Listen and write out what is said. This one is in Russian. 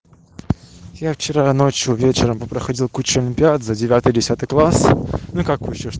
я вчера ночью вечером попроходил кучу олимпиад за девятый десятый класс ну как кучу